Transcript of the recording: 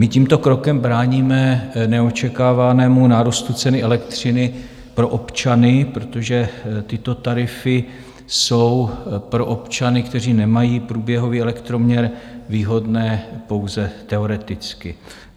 My tímto krokem bráníme neočekávanému nárůstu ceny elektřiny pro občany, protože tyto tarify jsou pro občany, kteří nemají průběhový elektroměr, výhodné pouze teoreticky.